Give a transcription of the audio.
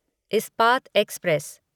Ispat express